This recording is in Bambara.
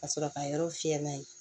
Ka sɔrɔ ka yɔrɔ fiyɛ n'a ye